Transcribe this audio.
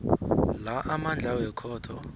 la amandla wekhotho